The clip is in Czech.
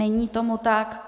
Není tomu tak.